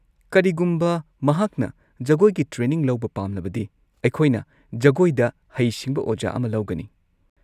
ꯀꯔꯤꯒꯨꯝꯕ ꯃꯍꯥꯛꯅ ꯖꯒꯣꯏꯒꯤ ꯇ꯭ꯔꯦꯅꯤꯡ ꯂꯧꯕ ꯄꯥꯝꯂꯕꯗꯤ ꯑꯩꯈꯣꯏꯅ ꯖꯒꯣꯏꯗ ꯍꯩꯁꯤꯡꯕ ꯑꯣꯖꯥ ꯑꯃ ꯂꯧꯒꯅꯤ꯫